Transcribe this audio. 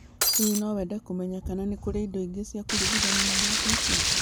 Hihi no wende kũmenya kana nĩ kũrĩ indo ingĩ cia kũringithania na iraatũ icio?